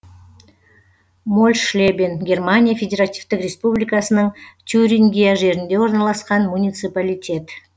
мольшлебен германия федеративтік республикасының тюрингия жерінде орналасқан муниципалитет